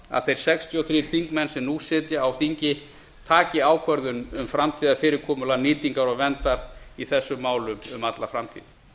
að þeir sextíu og þrír þingmenn sem nú sitja á þingi taki ákvörðun um framtíðarfyrirkomulag nýtingar og verndar í þessum málum um alla framtíð